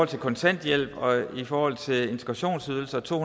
til kontanthjælp og i forhold til integrationsydelse og to